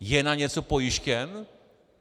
Je na něco pojištěn?